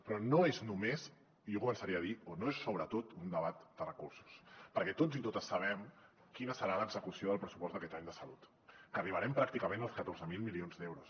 però no és només i jo ho començaré a dir o no és sobretot un debat de recursos perquè tots i totes sabem quina serà l’execució del pressupost d’aquest any de salut que arribarem pràcticament als catorze mil milions d’euros